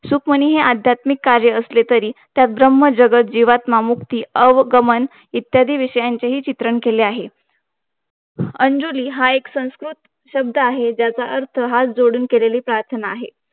सुकमनी हे अध्यात्मिक कार्य असले तरी त्यात ब्रह्म ब्रह्म जगत जीवात्मा मुक्ती अवकमंन इत्यादी विषयांचे हि चित्रण केले आहे अंजुनि हे एक संस्कृत शब्द आहे ज्याचा अर्थ हात जोडून केलेली प्रार्थना आहे